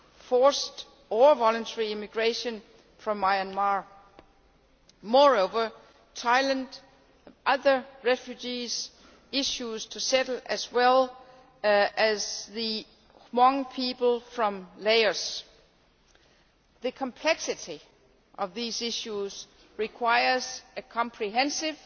forced or voluntary emigration from Myanmar. Moreover, Thailand has other refugee issues to settle as well, such as the Hmong people from Laos. The complexity of these issues requires a comprehensive